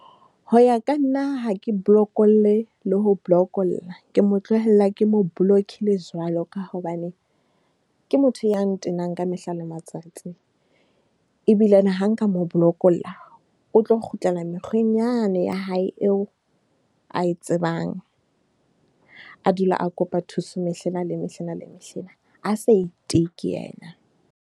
Ho ya ka nna ha ke blokolle le ho lo blokolla, ke mo tlohella, ke mo blokile jwalo. Ka hobane ke motho ya ntenang ka mehla le matsatsi ebile ha nka mo mo blokolla o tlo kgutlela mekgweng yane ya hae eo, ae tsebang a dule a kopa thuso. Mehlena le mehlena le mehlena a sa iteke yena.